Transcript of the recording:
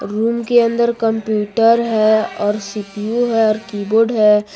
Room के अंदर computer है और सी_पी_यू है और कीबोर्ड है।